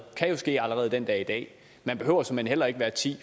kan jo ske allerede den dag i dag man behøver såmænd heller ikke være ti